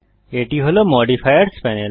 এটি হল modifiers panel